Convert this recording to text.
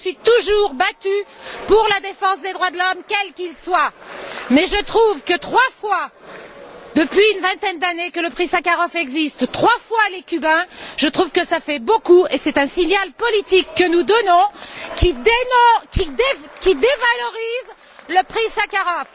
Je me suis toujours battue pour la défense des droits de l'homme quels qu'ils soient. Mais je trouve que trois fois, depuis une vingtaine d'années que le Prix Sakharov existe, trois fois les Cubains, je trouve que ça fait beaucoup, et c'est un signal politique que nous donnons qui dévalorise le Prix Sakharov.